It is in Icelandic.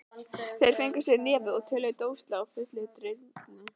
Þeir fengu sér í nefið og töluðu dólgslega, fullir drýldni.